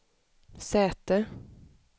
säte